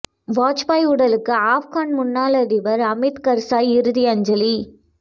வாஜ்பாய் உடலுக்கு ஆப்கன் முன்னாள் அதிபர் அமித் கர்சாய் இறுதி அஞ்சலி